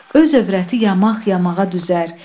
Öz övrəti yamaq yamağa düzər.